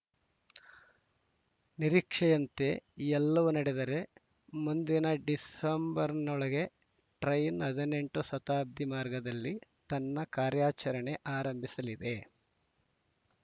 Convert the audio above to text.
ನಿರೀಕ್ಷೆಯಂತೆ ಎಲ್ಲವೂ ನಡೆದರೆ ಮುಂದಿನ ಡಿಸೆಂಬರ್‌ನೊಳಗೆ ಟ್ರೇನ್‌ ಹದಿನೆಂಟು ಶತಾಬ್ದಿ ಮಾರ್ಗದಲ್ಲಿ ತನ್ನ ಕಾರಾರ‍ಯಚರಣೆ ಆರಂಭಿಸಲಿದೆ